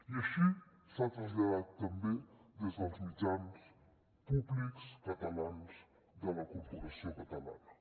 i així s’ha traslladat també des dels mitjans públics catalans de la corporació catalana